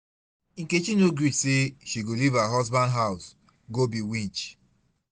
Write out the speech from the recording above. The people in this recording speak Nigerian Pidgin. Nkechi no gree say she go leave her husband house go be witch